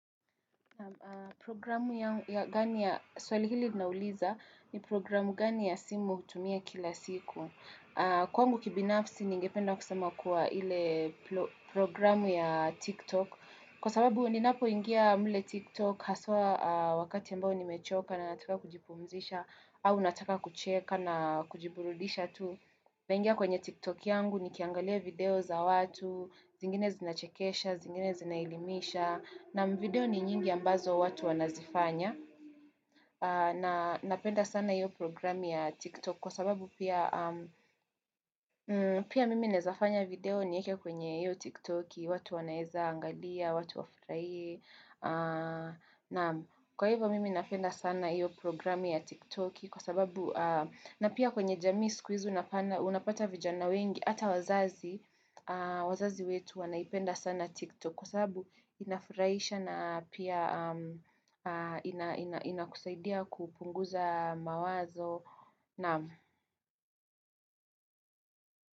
Programu ya gani ya swali hili linauliza ni programu gani ya simu hutumia kila siku. Kwangu kibinafsi ningependa kusema kuwa ile programu ya TikTok. Kwa sababu ninapoingia mule TikTok haswa wakati ambao nimechoka na nataka kujipumzisha au nataka kucheka na kujiburudisha tu. Naingia kwenye TikTok yangu nikiangalia video za watu, zingine zinachekesha, zingine zinaelimisha. Na video ni nyingi ambazo watu wanazifanya na napenda sana iyo programi ya tiktok kwa sababu pia mimi naezafanya video nieke kwenye iyo tiktok watu wanaeza angalia, watu wafraie na kwa hivyo mimi napenda sana iyo programi ya tiktok kwa sababu na pia kwenye jamii siku izi unapata vijana wengi ata wazazi wazazi wetu wanaipenda sana tiktok Kwa sababu inafuraisha na pia inakusaidia kupunguza mawazo na.